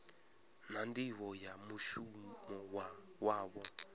na nḓivho ya mushumo wavho